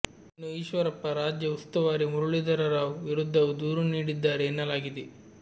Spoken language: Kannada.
ಇನ್ನು ಈಶ್ವರಪ್ಪ ರಾಜ್ಯ ಉಸ್ತುವಾರಿ ಮುರುಳಿಧರರಾವ್ ವಿರುದ್ಧವೂ ದೂರು ನೀಡಿದ್ದಾರೆ ಎನ್ನಲಾಗಿದೆ